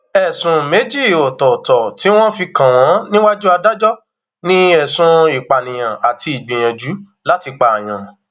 ẹsùn méjì ọtọọtọ tí wọn fi kàn wọn níwájú adájọ ni ẹsùn ìpànìyàn àti ìgbìyànjú láti pààyàn